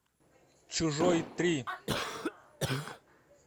чужой три